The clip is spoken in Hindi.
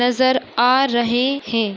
नज़र आ रहे है।